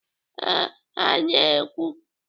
Ee, ha na-ekwu.